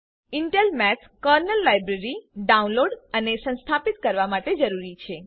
Intel math kernel library download અને સંસ્થાપિત કરવા માટે જરૂરી છે